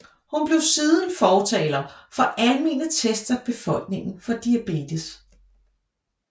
Hun blev siden fortaler for almene tests af befolkningen for diabetes